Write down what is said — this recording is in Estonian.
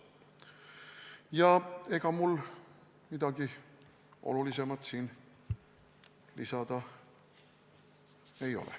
Ja ega mul rohkem midagi olulist siin lisada ei ole.